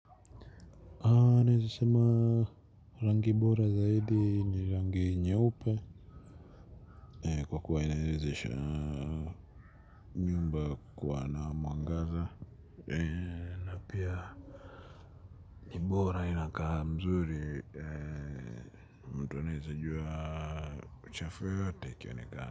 Naweza sema rangi bora zaidi ni rangi nyeupe, kwa kuwa inawezesha nyumba kuwa na mwangaza. Na pia ni bora ina vizuri, mtu anaweza kujua uchafu wowote ikionekana.